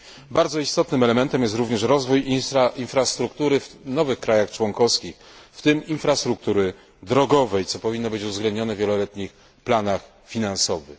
Bardzo istotnym elementem jest również rozwój infrastruktury w nowych krajach członkowskich, w tym infrastruktury drogowej, co powinno być uwzględnione w wieloletnich planach finansowych.